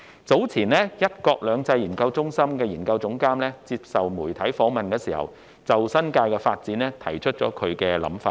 早前，一國兩制研究中心研究總監在接受傳媒訪問時提出他對新界發展的想法。